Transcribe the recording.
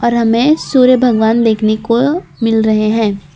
हमें सूर्य भगवान देखने को मिल रहे हैं।